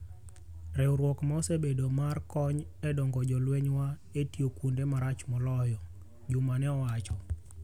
Riwruok ma osebedo mar kony e dongo jolweny wa e tio kuonde marach moloyo," Juma ne owacho.